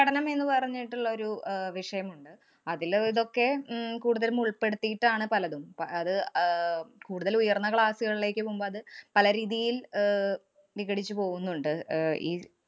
പരിസ്ഥിതി പഠനം എന്ന് പറഞ്ഞിട്ടുള്ള ഒരു അഹ് വിഷയമുണ്ട്. അതില് ഇതൊക്കെ ഉം കൂടുതലുമുള്‍പ്പെടുത്തിയിട്ടാണ് പലതും. പ~ അത് ആഹ് കൂടുതല്‍ ഉയര്‍ന്ന class കളിലേക്ക് പോവുമ്പ അത് പലരീതിയില്‍ അഹ് വിഘടിച്ചു പോകുന്നുണ്ട് അഹ് ഈ